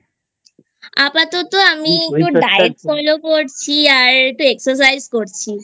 আপাতত আমি একটু Diet Follow করছি আর একটু Exercise করছি